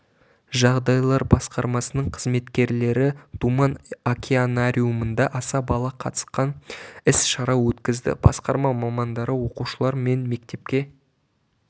жағдайлар басқармасының қызметкерлері думан океанариумында аса бала қатысқан іс-шара өткізді басқарма мамандары оқушылар мен мектепке